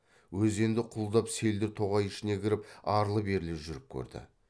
өзенді құлдап селдір тоғай ішіне кіріп арлы берлі жүріп көрді